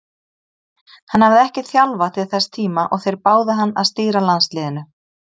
Hann hafði ekki þjálfað til þess tíma og þeir báðu hann að stýra landsliðinu.